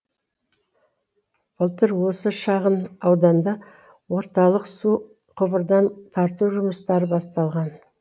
былтыр осы шағын ауданда орталық су құбырын тарту жұмыстары басталған